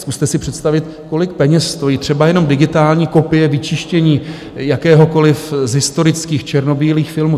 Zkuste si představit, kolik peněz stojí třeba jenom digitální kopie, vyčištění jakéhokoliv z historických černobílých filmů.